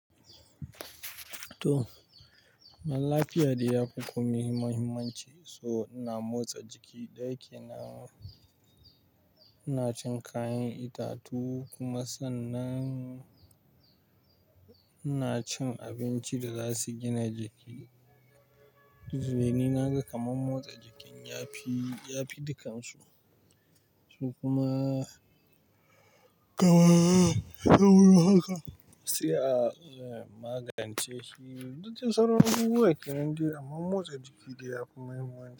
To, lafiya dai yafi komi muhimmanci. So ina motsa jiki ɗaki na, ina cin kayan itatu kuma sannan ina cin abinci da za su gina jiki. Dani naga kaman motsa jikin yafi, yafi dukansu. Su kuma, kamar ya wurin haka, sai a magance shi. Duka sauran abubuwan kenan dai amma motsa jiki dai ya fi muhimmanci.